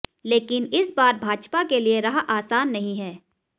लेकिन इस बार भाजपा के लिए राह आसान नहीं है